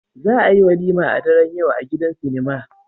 Za a yi walima a daren yau a gidan sinima